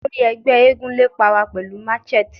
Olori ẹgbẹ eégún lepa wa pẹlu matchet